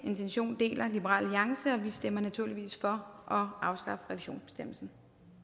intention deler liberal alliance og vi stemmer naturligvis for at afskaffe revisionsbestemmelsen